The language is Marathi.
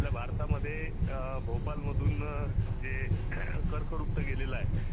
आपल्या भारतामध्ये भोपालमधुन जे कर्कवृत्त गेलेल आहे.